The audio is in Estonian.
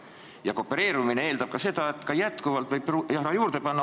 Ja koopereerumine eeldab ka seda, et endiselt tuleb raha juurde panna.